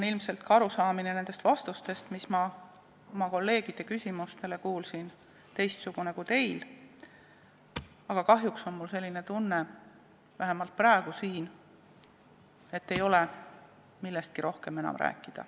Ilmselt on ka minu arusaam teie vastustest kolleegide küsimustele teistsugune kui teil, aga kahjuks on mul selline tunne, et vähemalt praegu ei ole siin millestki rohkem rääkida.